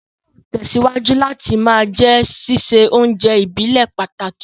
Sísun yóò tẹ̀síwájú láti ma jẹ́ sísè oúnjẹ ìbílẹ̀ pàtàkì